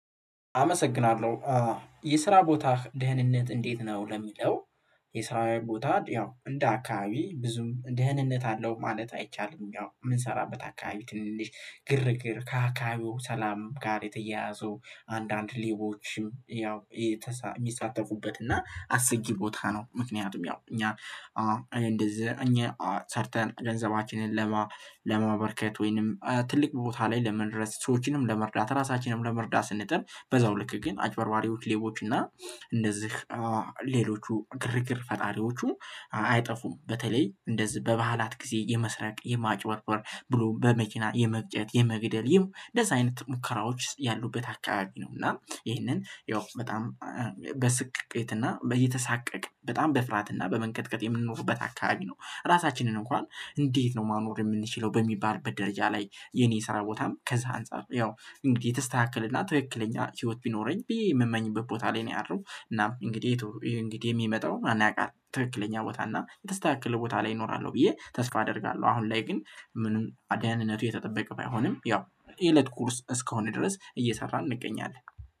አመሰግናለሁ የስራ ቦታ ደህንነት እንዴት ነው ለሚለው? የስራየ ቦታ ያው እንደ አካባቢ ብዙም ደህንነት አለው ማለት አይቻልም። ያው የምንሰራበት አካባቢ ትንሽ ግርግር ከአካባቢው ሰላም ጋር የተያያዘው አንዳንድ ሌቦችም ያው የሚሳተፉበት እና አስጊ ቦታ ነው። ምክንያቱም ያው እኛ እንደዚህ እኛ ሰርተን ገንዘባችንን ወይንም ትልቅ ቦታ ላይ ለመድረስ ሰዎችንም ለመርዳት ራሳችንንም ለመርዳት ስንጥር በዛው ልክ ግን አጭበርባሪዎች ሌቦች እና እነዚህ ሌሎቹ ግርግር ፈጣሪዎቹ አይጠፉም። በተለይ እንደዚህ በባህላት ጊዜ የመስረቅ የማጭበርበር ብሎም በመኪና የመግጨት የመግደል ይም እንደዚህ አይነት ሙከራዎች ያሉበት አካባቢ ነው። እና ይህንን ያው በጣም በስቅቅት እና እየተሳቀቅን በጣም በፍርሀትና በመንቀጥቀጥ የምንኖርበት አካባቢ ነው። ራሳችንን እንኳን እንዴት ነው ማኖር የምንችለው በሚባልበት ደረጃ ላይ የኔ ስራ ቦታም ከዛ አንፃር ያው እንግዲህ የተስተካከለና ትክክለኛ ህይወት ቢኖረኝ ብዬ የምመኝበት ቦታ ላይ ነው ያለሁት። እናም እንግዲህ እንግዲህ የሚመጣው ማን ያውቃል ትክክለኛ ቦታ እና የተስተካከለ ቦታ ላይ እኖራለሁ ብዬ ተስፋ አደርጋለሁ። አሁን ላይ ግን ምንም ደህንነቱ የተጠበቀ ባይሆንም ያው የእለት ጉርስ እስከሆነ ድረስ እየሰራን እንገኛለን